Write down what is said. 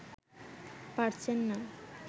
পারছেন না